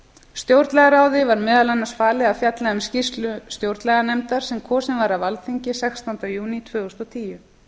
stjórnlagaráði var meðal annars falið að fjalla um skýrslu stjórnlaganefndar sem kosin var af alþingi sextánda júní tvö þúsund og tíu